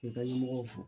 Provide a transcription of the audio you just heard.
K'i ka ɲɛmɔgɔw fo